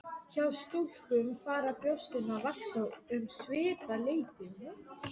Hjá stúlkum fara brjóstin að vaxa um svipað leyti.